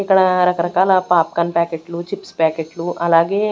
ఇక్కడ రకరకాల popcorn ప్యాకెట్లు చిప్స్ ప్యాకెట్లు అలాగే.